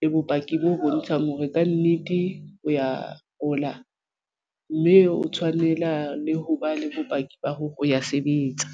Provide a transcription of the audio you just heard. le bopaki bo bontshang hore kannete o ya hola mme o tshwanela le ho ba le bopaki ba hore o ya sebetsa.